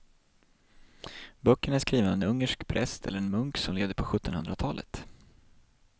Böckerna är skrivna av en ungersk präst eller munk som levde på sjuttonhundratalet.